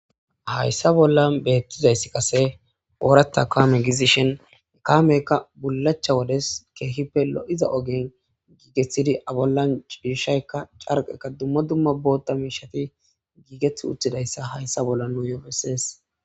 Hayssa bollan bethizayssi qasse oratha kamme gizishin kamekka bulacha wodes kehippe lo'zza ogge gigethidi abollan cishaykka carqeka dumma dumma boththa mishatha gigethiwothidaysa hayssa bolla nuyo besses.